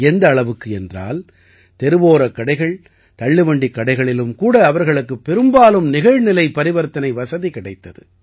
எந்த அளவுக்கு என்றால் தெருவோரக் கடைகள் தள்ளுவண்டிக் கடைகளிலும் கூட அவர்களுக்குப் பெரும்பாலும் நிகழ்நிலை பரிவர்த்தனை வசதி கிடைத்தது